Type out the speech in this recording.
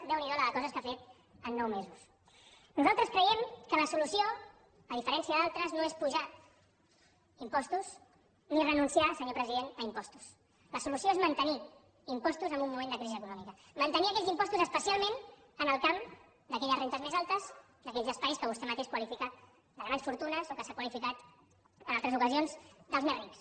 déu n’hi do la de coses que ha fet en nou mesos nosaltres creiem que la solució a diferència d’altres no és apujar impostos ni renunciar senyor president a impostos la solució és mantenir impostos en un moment de crisi econòmica mantenir aquells impostos especialment en el camp d’aquelles rendes més altres d’aquells espais que vostè mateix qualifica de grans fortunes o que s’han qualificat en altres ocasions dels més rics